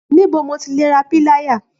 Níbo ni mo ti lè ra píláyà?